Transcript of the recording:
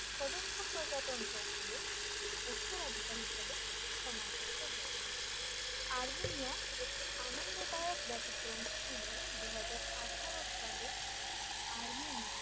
সদস্য প্রজাতন্ত্র গুলিও উত্তরাধিকার হিসেবে স্থানান্তরিত হয়েছে আর্মেনিয়া একটি আনন্দদায়ক ব্যতিক্রম ছিল দুই হাজার আঠেরো সালে আর্মেনিয়ান